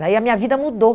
Daí a minha vida mudou.